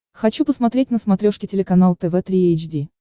хочу посмотреть на смотрешке телеканал тв три эйч ди